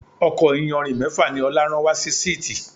Ọkọ̀ iyanrìn mẹ́fà ni Ọlá rán wa si síìtí.